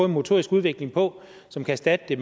motorisk udvikling på som kan erstatte det